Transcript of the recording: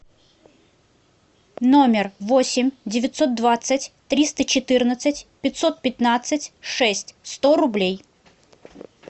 номер восемь девятьсот двадцать триста четырнадцать пятьсот пятнадцать шесть сто рублей